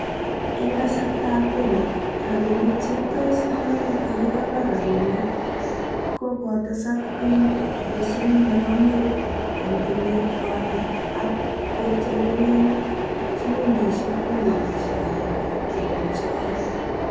En kasartab robo, rabinik cheitos yon kakikonor rabinik ko kotesak en pasen nebo mut en kenyit konye ak kotelelen silingisiek bilionisiek agenge kenuch sogol.